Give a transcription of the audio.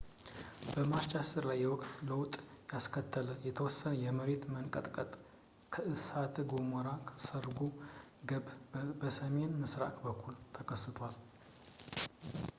በማርች 10 ላይ የወቅት ለውጥ ያስከተለ የተወሰነ የመሬት መንቀጥቀጥ ከእሳተ ገሞራው ሰርጎ ገብ በሰሜን ምሥራቅ በኩል ተከስቷል